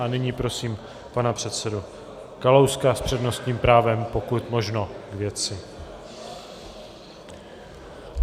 A nyní prosím pana předsedu Kalouska s přednostním právem, pokud možno k věci.